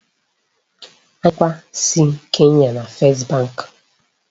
Anyị nweburu onye nchekwa si Kenya na First bank.